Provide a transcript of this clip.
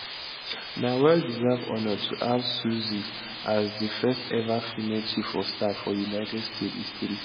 na well deserved honour to have susie as di firsteva female chief of staff for united states history